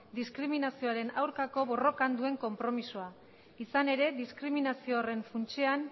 diskriminazioaren aurkako borrokan duen konpromezua izan ere diskriminazio horren funtsean